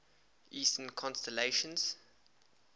eastern constellations